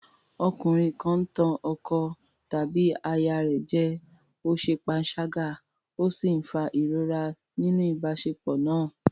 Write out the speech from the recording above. Ọkùnrin kan ń tàn ọkọ tàbí aya rẹ̀ jẹ, ó ṣe panṣágà ó sì ń fa ìrora nínú ìbáṣepọ̀ náà.